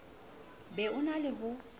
be o na le ho